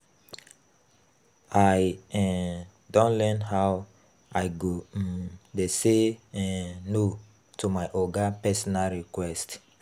I um don learn how I go um dey sey um no to my oga personal request.